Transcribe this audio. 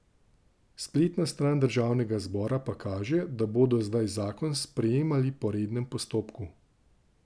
Spletna stran državnega zbora pa kaže, da bodo zdaj zakon sprejemali po rednem postopku.